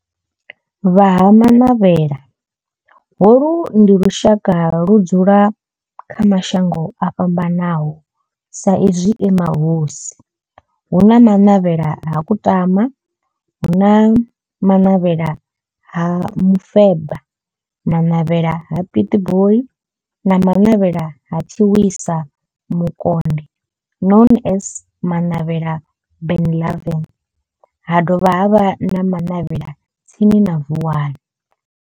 Vha Ha-Manavhela, holu ndi lushaka ludzula kha mashango ofhambanaho sa izwi e mahosi hu na Manavhela ha Kutama, Manavhela ha Mufeba, Manavhela ha Pietboi na Manavhela ha Tshiwisa Mukonde known as Manavhela Benlavin ha dovha havha na Manavhela tsini na Vuwani.